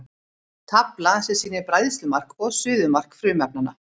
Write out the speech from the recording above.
Tafla sem sýnir bræðslumark og suðumark frumefnanna.